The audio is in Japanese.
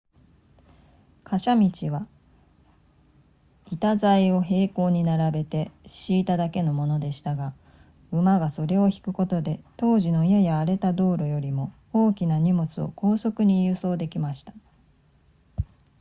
貨車道は板材を並行に並べて敷いただけのものでしたが馬がそれを引くことで当時のやや荒れた道路よりも大きな荷物を高速に輸送できました